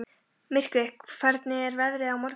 Myrkvi, hvernig er veðrið á morgun?